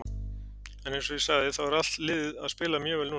En eins og ég sagði þá er allt liðið að spila mjög vel núna.